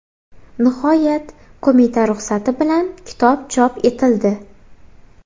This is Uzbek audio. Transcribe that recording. Nihoyat, qo‘mita ruxsati bilan kitob chop etildi.